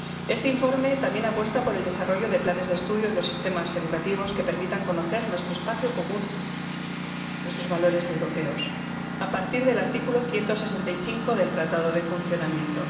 Este informe también apuesta por el desarrollo de planes de estudio en los sistemas educativos que permitan conocer nuestro espacio común, nuestros valores europeos, a partir del artículo 165 del Tratado de Funcionamiento.